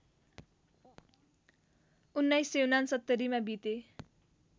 १९६९ मा बिते